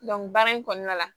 baara in kɔnɔna la